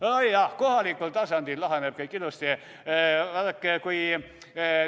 Nojah, kohalikul tasandil laheneb kõik ilusti.